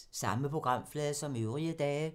Samme programflade som øvrige dage